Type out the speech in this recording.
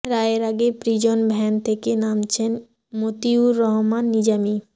রায়ের আগে prison van থেকে নামছেন মতিউর রহমান নিজামী